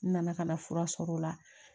N nana ka na fura sɔrɔ o la